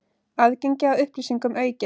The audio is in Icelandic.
Aðgengi að upplýsingum aukið